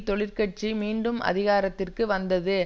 தொழிற்கட்சி மீண்டும் அதிகாரத்திற்கு வந்தது